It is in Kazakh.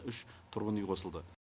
үш тұрғын үй қосылды